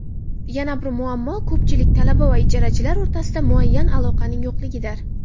Yana bir muammo ko‘pchilik talaba va ijarachilar o‘rtasida muayyan aloqaning yo‘qligidir.